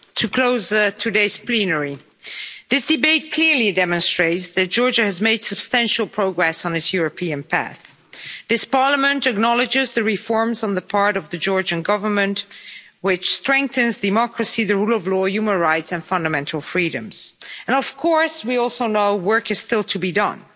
Madam President, to close today's plenary. This debate clearly demonstrates that Georgia has made substantial progress on its European path. This Parliament acknowledges the reforms on the part of the Georgian Government which strengthen democracy, the rule of law, human rights and fundamental freedoms, and of course, we also know work is still to be done.